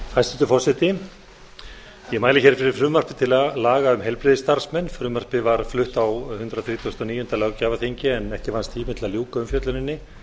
forseti ég mæli hér fyrir frumvarpi á laga um heilbrigðisstarfsmenn frumvarpið var flutt á hundrað þrítugasta og níunda löggjafarþingi en ekki vannst tími til að ljúka umfjölluninni